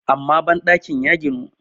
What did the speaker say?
amma bandakin nan ya ginu